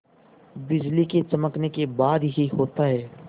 बिजली के चमकने के बाद ही होता है